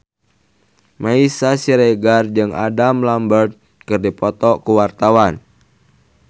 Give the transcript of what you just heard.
Meisya Siregar jeung Adam Lambert keur dipoto ku wartawan